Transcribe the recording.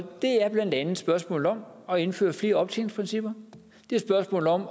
det er blandt andet spørgsmålet om at indføre flere optjeningsprincipper det er spørgsmålet om